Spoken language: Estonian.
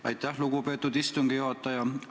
Aitäh, lugupeetud istungi juhataja!